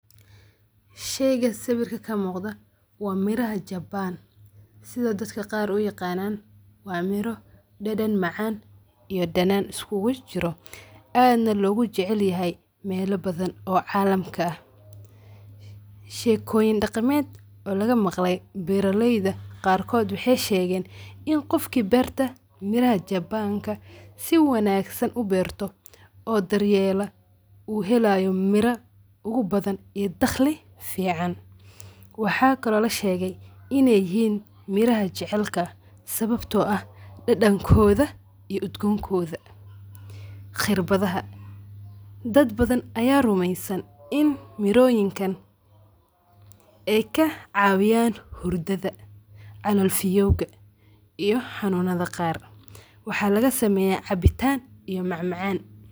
Shayga sawirka ka muuqda waa mira japaan, sida daka qaar u yiqaanaan. Waa miro dhadhan macaan iyo dhanaan uskugujiro aadna loogu jecayl yahay meelo badan oo caalamka ah. Sheekooyin dhaqameed oo laga maqlay beeralayda qaarkood waxaay sheegeen in qofkii beerta miraha japaanka si wanaagsan u beerto, oo daryeela uu helaayo miro ugu badan iyo dakhli fiicaan. Waxaa kelo la sheegay in ay yihiin miraha jacaylka. Sababtoo ah; dhadhankooda iyo udgoon kooda khirbadaha. Dad badan ayaa rumaysan in mirooyinkan ay ka caawiyaan hurdada, calool fiyoowga, iyo xanuunada qaar. Waxaa laga sameeyaa cabitaan iyo macmacaan.